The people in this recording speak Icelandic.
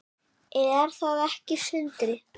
Er það ekki Sindri?